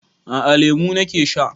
A a, lemu na ke sha.